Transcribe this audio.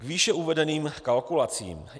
K výše uvedeným kalkulacím.